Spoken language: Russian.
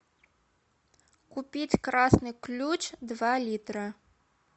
купить красный ключ два литра